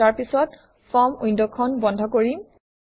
আৰু তাৰপিছত ফৰ্ম উইণ্ডখন বন্ধ কৰিম